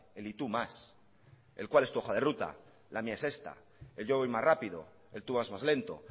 el y tú más el cuál es tu hoja de ruta la mía es esta el yo voy más rápido el tú vas más lento